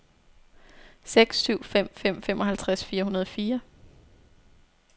seks syv fem fem femoghalvtreds fire hundrede og fire